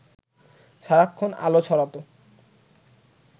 সারাক্ষণ আলো ছড়াত